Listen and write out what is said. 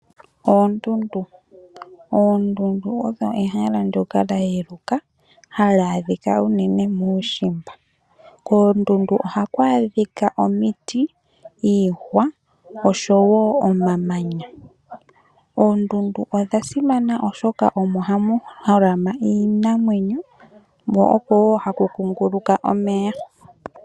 Oondundu! Ondundu olyo ehala ndyoka lya yeluka, ha li adhika uunene muushimba. Koondundu oha ku adhiki omiti, iihwa osho woo omamanya. Oondundu odha simana oshoka omo hamu holama iinamwenyo mo oko woo haku kunguluka omeya.